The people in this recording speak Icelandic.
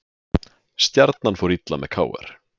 Stjarnan fór illa með KR